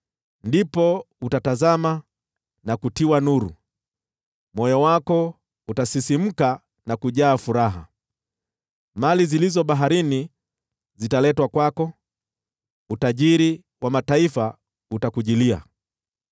Ndipo utatazama na kutiwa nuru, moyo wako utasisimka na kujaa furaha, mali zilizo baharini zitaletwa kwako, utajiri wa mataifa utakujilia.